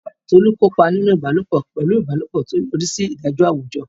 Tolu kópa nínú ìbálòpọ̀ pẹ̀lú ìbálòpọ̀, tí ó yọrí sí ìdájọ́ àwùjọ.